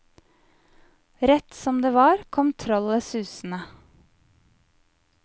Rett som det var, kom trollet susende.